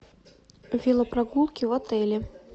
велопрогулки в отеле